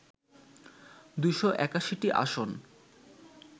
২৮১টি আসন